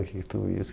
O que que tudo isso?